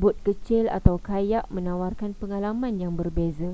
bot kecil atau kayak menawarkan pengalaman yang berbeza